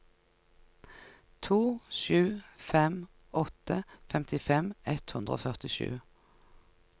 to sju fem åtte femtifem ett hundre og førtisju